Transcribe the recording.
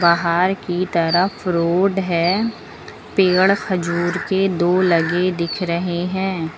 बाहर की तरफ रोड है पेड़ खजूर के दो लगे दिख रहे हैं।